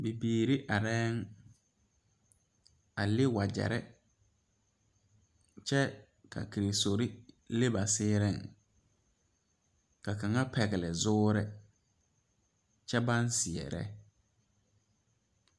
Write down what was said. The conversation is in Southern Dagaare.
Bibiiri arera a leŋ wagyere kyɛ ka kansori leŋ ba siire ka kaŋa pegle zuure kyɛ baŋ seɛre.